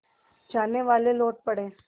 जानेवाले लौट पड़े